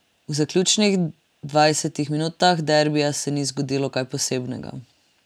V zaključnih dvajsetih minutah derbija se ni zgodilo kar posebnega.